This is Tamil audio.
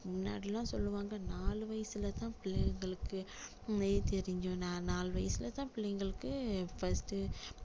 முன்னாடி எல்லாம் சொல்லுவாங்க நாலு வயசுல தான் பிள்ளைங்களுக்கு தெரியும் நாலு வயசுல தான் பிள்ளைங்களுக்கு first டு